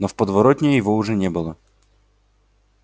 но в подворотне его уже не было